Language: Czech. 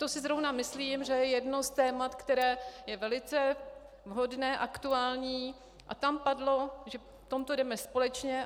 To si zrovna myslím, že je jedno z témat, které je velice vhodné, aktuální, a tam padlo, že v tomto jdeme společně.